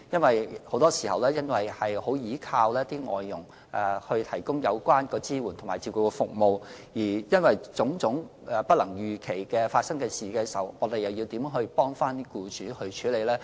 由於很多時僱主須倚靠外傭提供支援及照顧服務，當發生種種不能預期的事情時，我們又怎樣幫僱主處理？